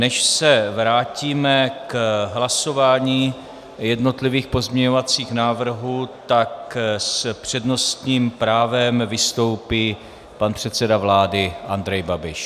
Než se vrátíme k hlasování jednotlivých pozměňovacích návrhů, tak s přednostním právem vystoupí pan předseda vlády Andrej Babiš.